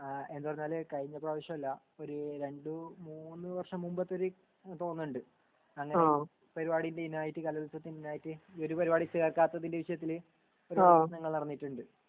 ആ എന്താ പറഞ്ഞാൽ കഴിഞ്ഞ പ്രവിശ്യല്ല ഒര് രണ്ട് മൂന്ന് വര്ഷം മുമ്പത്തൊര് തോന്ന ണ്ട് അങ്ങനെ പരുവാടിന്റെ ഇനായിട്ട് കലോത്സവത്തിന്റെ ഇനായിട്ട് ഇ ഒരു പെരുവാടി ചേർക്കത്തതിന്റെ വിഷയത്തില് ഓരോ പ്രശ്നങ്ങൾ നടന്നിട്ടുണ്ട്